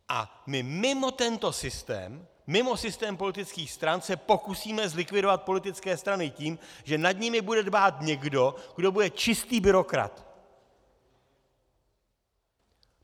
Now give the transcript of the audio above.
A my mimo tento systém, mimo systém politických stran, se pokusíme zlikvidovat politické strany tím, že nad nimi bude dbát někdo, kdo bude čistý byrokrat.